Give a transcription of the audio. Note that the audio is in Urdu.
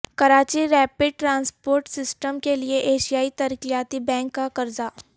کراچی ریپڈ ٹرانسپورٹ سسٹم کے لیے ایشیائی ترقیاتی بینک کا قرضہ